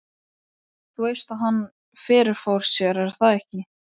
Þú veist að hann. fyrirfór sér, er það ekki?